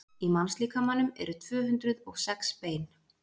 í mannslíkamanum eru tvö hundruð og sex bein